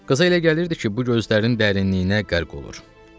Qıza elə gəlirdi ki, bu gözlərinin dərinliyinə qərq olur.